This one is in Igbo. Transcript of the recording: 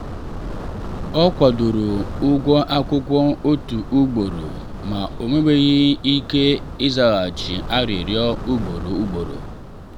ọ kwadoro ụgwọ akwụkwọ otu ugboro ma o mewaghị ike izaghachi arịrịọ ugboro ugboro.